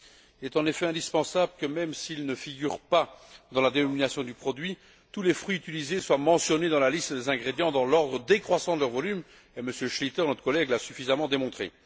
Il est en effet indispensable que, même s'ils ne figurent pas dans la dénomination du produit, tous les fruits utilisés soient mentionnés dans la liste des ingrédients dans l'ordre décroissant de leur volume et M. Schlyter, notre collègue, l'a suffisamment démontré.